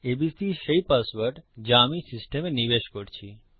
ABC সেই password যা আমি সিস্টেমে নিবেশ করছি